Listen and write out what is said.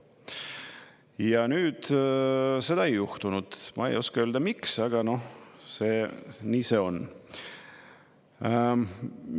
Ja nüüd seda ei juhtunud, ma ei oska öelda, miks, aga nii see on.